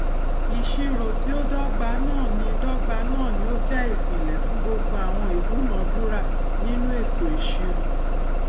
ìṣirò tí ó dọgba náà ní dọgba náà ní ó jẹ ìpìnlẹ fún gbogbo àwọn ìdúnàdúrà nínú ètò ìṣirò